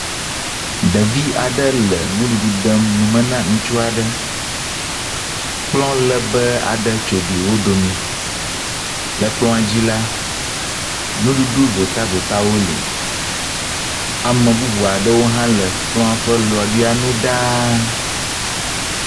Ɖevi aɖe le nuɖuɖu dem nu me na ŋutsu aɖe. Kplɔ lebee aɖe tso gli wo dome. Le kplɔa dzi la, nuɖuɖu votavotawo le. Ame bubu aɖewo hã le kplɔa ƒe lɔeɖa nu ɖaa.